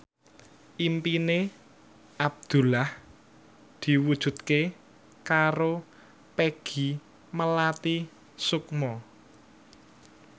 impine Abdullah diwujudke karo Peggy Melati Sukma